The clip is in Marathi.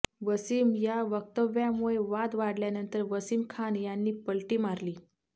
वसीम या वक्तव्यामुळे वाद वाढल्यानंतर वसीम खान यांनी पलटी मारली